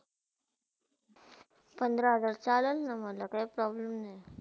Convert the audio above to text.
पंधरा हजार चालेलणा मला काही problem नाही.